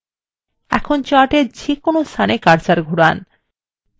এখন chart এর যে কোন স্থানে cursor ঘুরান